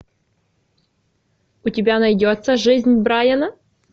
у тебя найдется жизнь брайана